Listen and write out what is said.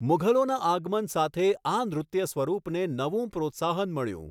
મુઘલોના આગમન સાથે, આ નૃત્ય સ્વરૂપને નવું પ્રોત્સાહન મળ્યું.